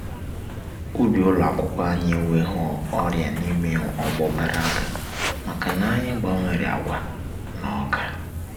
ubi ụlọ akwụkwọ anyị ewehou ọrịa n’ime ọgbọ gara aga maka-na anyị gbawere agwa na oka.